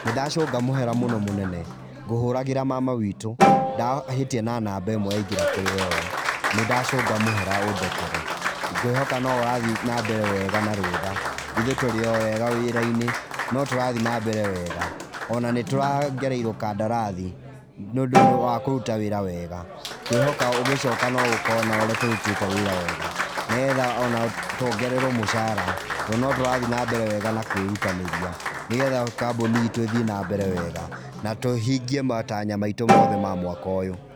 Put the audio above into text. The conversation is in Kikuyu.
Nĩndacũnga mũhera mũno mũnene. Nguhũragĩra mama witũ, ndahĩtia na namba ĩmwe ya ingĩra kũrĩwe ũ, nĩndacunga mũhera ũndekere. Ngwĩhoka no ũrathi na mbere wega na rũtha. Ithuĩ tũrĩ o wega wĩrainĩ, no tũrathiĩ na mbere wega. Ona nĩtũrongereirwo kandarathi nĩũndũ nĩ wa kũruta wĩra wega. Ngwihoka ũgicoka no ũkona ũrĩa tũrutĩte wĩra wega. Nigetha ona tuongererwo mũcara to notũrathi na mbere wega na kwĩrutanĩria, Nigetha kambuni itũ ĩthi na mbere wega na tũhingie matanya maitũ mothe ma mwaka ũyũ.